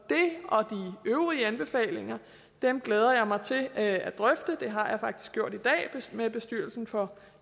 øvrige anbefalinger glæder jeg mig til at drøfte det har jeg faktisk gjort i dag med bestyrelsen for